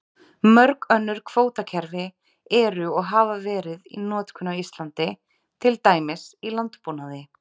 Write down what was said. Mörg önnur kvótakerfi eru og hafa verið í notkun á Íslandi, til dæmis í landbúnaði.